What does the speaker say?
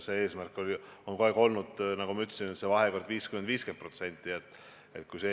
Eesmärk on kogu aeg olnud, nagu ma ütlesin, et vahekord oleks 50 : 50.